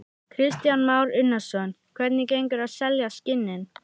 Kristján Már Unnarsson: Hvernig gengur að selja skinnin?